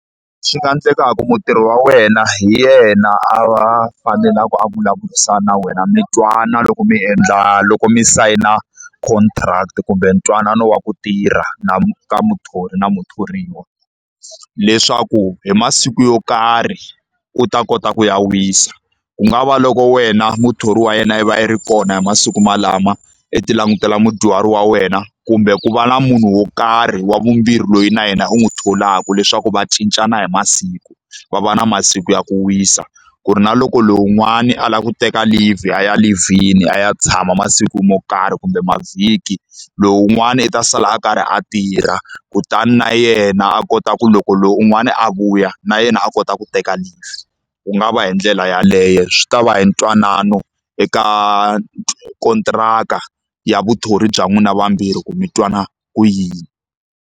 Swi nga endleka ku mutirhi wa wena hi yena a va a fanelaku a vulavurisana na wena, mi twana loko mi endla loko mi sayina contract kumbe ntwanano wa ku tirha na ka muthori na muthoriwa. Leswaku hi masiku yo karhi u ta kota ku ya wisa. Ku nga va loko wena muthori wa yena i va i ri kona hi masiku walawo, i ti langutela mudyuhari wa wena, kumbe ku va na munhu wo karhi wa vumbirhi loyi na yena u n'wi tholaka leswaku va cincana hi masiku, va va na masiku ya ku wisa. Ku ri na loko lowun'wani a lava ku teka leave, a ya leave-ini a ya tshama masiku mo karhi kumbe mavhiki, lowun'wana u ta sala a karhi a tirha. Kutani na yena a kota ku loko lowun'wani a vuya, na yena a kota ku teka leave. Ku nga va hi ndlela yaleyo, swi ta va hi ntwanano eka kontiraka ya vuthori bya n'wina vambirhi ku mi twanana ku yini.